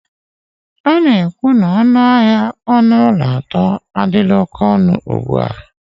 A na-ekwu na ọnụ ahịa ụlọ nwere ọnụ ụlọ atọ adila oke onu ugbu a